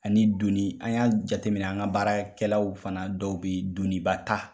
Ani donni an y'a jateminɛ an ka baarakɛlaw fana dɔw bɛ doniba ta.